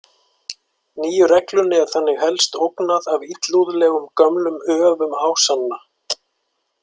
Nýju reglunni er þannig helst ógnað af illúðlegum gömlum öfum Ásanna.